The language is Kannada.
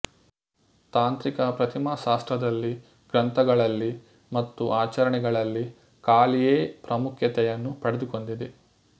ತಾಂತ್ರಿಕ ಪ್ರತಿಮಾಶಾಸ್ತ್ರದಲ್ಲಿ ಗ್ರಂಥಗಳಲ್ಲಿ ಮತ್ತು ಆಚರಣೆಗಳಲ್ಲಿ ಕಾಳಿಯೇ ಪ್ರಾಮುಖ್ಯತೆಯನ್ನು ಪಡೆದುಕೊಂಡಿದೆ